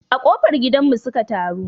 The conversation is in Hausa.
A ƙofar gidan mu su ka taru